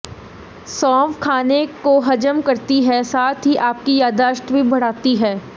सौफ खाने को हजम करती है साथ ही आपकी याददाश्त भी बढ़ाती है